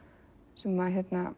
sem